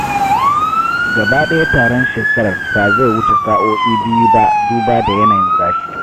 Gaba ɗaya taron shekarar ba zai wuce sa'o'i biyu ba duba da yanayin zafi.